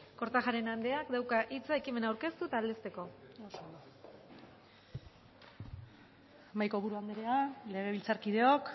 kortajarena andreak dauka hitza ekimena aurkeztu eta aldezteko mahaiko buru anderea legebiltzarkideok